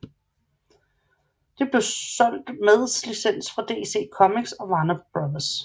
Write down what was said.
Det blev solgt meds licens fra DC Comics og Warner Bros